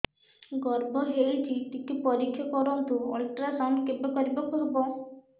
ଗର୍ଭ ହେଇଚି ଟିକେ ପରିକ୍ଷା କରନ୍ତୁ ଅଲଟ୍ରାସାଉଣ୍ଡ କେବେ କରିବାକୁ ହବ